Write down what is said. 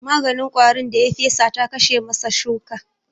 Maganin ƙwarin da ya fesa ta kashe masa shuka